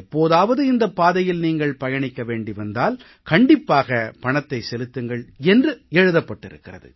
எப்போதாவது இந்தப் பாதையில் நீங்கள் பயணிக்க வேண்டி வந்தால் கண்டிப்பாக பணத்தை செலுத்துங்கள் என்று எழுதப்பட்டிருக்கிறது